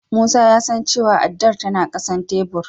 Musa ya san cewa addar tana ƙasan tebur.